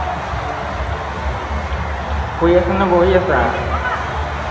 শুই আছা নে বহি আছা